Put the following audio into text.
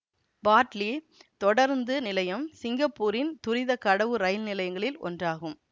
partly தொடருந்து நிலையம் சிங்கப்பூரின் துரித கடவு ரயில் நிலையங்களில் ஒன்றாகும்